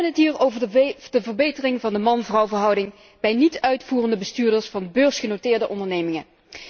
We hebben het hier over de verbetering van de man vrouw verhouding bij niet uitvoerende bestuurders van beursgenoteerde ondernemingen.